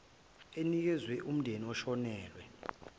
enikezwa umndeni oshonelwe